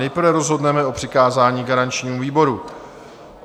Nejprve rozhodneme o přikázání garančnímu výboru.